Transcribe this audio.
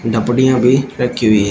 डपड़ियां भी रखी हुई है।